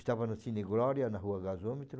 Estava no Cine Glória, na rua Gasômetro.